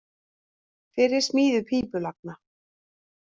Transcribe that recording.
Fyrir smíði pípulagna